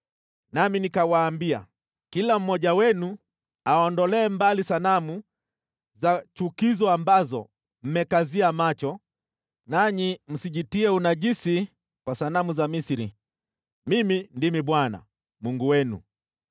Nami nikawaambia, “Kila mmoja wenu aondolee mbali sanamu za chukizo ambazo mmekazia macho, nanyi msijitie unajisi kwa sanamu za Misri. Mimi ndimi Bwana , Mungu wenu.”